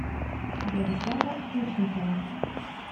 владислава ключникова